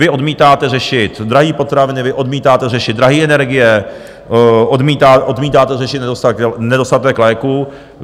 Vy odmítáte řešit drahé potraviny, vy odmítáte řešit drahé energie, odmítáte řešit nedostatek léků.